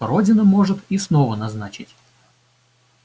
родина может и снова назначить